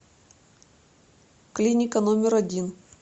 клиника номер один